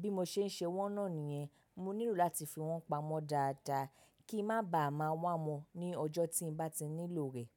Bí mo ṣe ń ṣe wọ́n náà nìyẹn, mo nílò láti fi wọ́n pamọ́ dáadáa kí n má baà máa wá wọn ní ọjọ́ tí mo bá ti nílò rẹ̀.